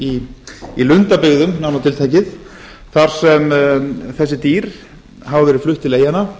í vestmannaeyjum í lundabyggðum nánar til tekið þar sem þessi dýr hafa verið flutt til eyjanna